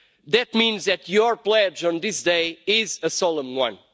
That means that your pledge on this day is a solemn one.